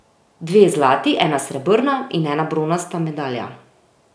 Dve zlati, ena srebrna in ena bronasta medalja.